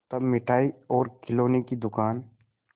तब मिठाई और खिलौने की दुकान